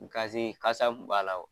Gazi ,kasa kun b'a la wo!